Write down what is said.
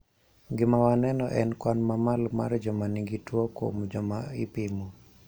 Gima waneno en kwan mamalo mar joma nigi tuo kuom joma ipimo